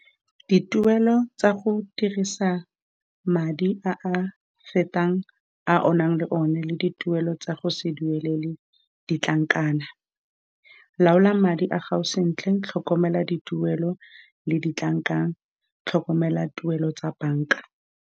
Dituelo tsa go dirisa madi a a fetang a o nang le one, le dituelo tsa go se duelele ditlankana. Laola madi a gago sentle, tlhokomela dituelo le ditlankana, tlhokomela tuelo tsa banka.